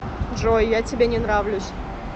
джой я тебе не нравлюсь